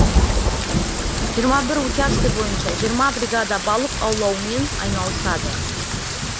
жиырма бір учаске бойынша жиырма бригада балық аулаумен айналысады